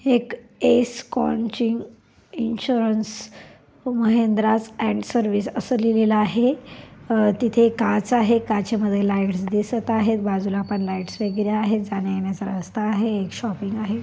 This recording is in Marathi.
S coaching insurance Mahindra's and service अस लिहलेल आहे अ तिथे काच आहे काचे मध्ये लाइटस दिसत आहेत बाजूला पण लाइटस वगेरा आहेत जाण्या येण्याचा रस्ता आहे एक शॉपिंग आहे.